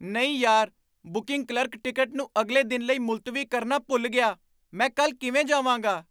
ਨਹੀਂ ਯਾਰ! Booking clerk ticket ਨੂੰ ਅਗਲੇ ਦਿਨ ਲਈ ਮੁਲਤਵੀ ਕਰਨਾ ਭੁੱਲ ਗਿਆ। ਮੈਂ ਕੱਲ੍ਹ ਕਿਵੇਂ ਜਾਵਾਂਗਾ?